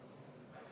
Aitäh!